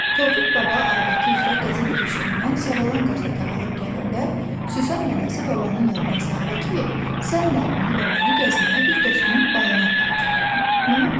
Tofiq baba adəti üzrə qəzet köşkündən Savalan qəzeti alıb gələndə, Süsən nənə babanın yadına saldı ki, sən Nərmini və məni gəzməyə bir dostunun bağına aparacaqdın, nə oldu?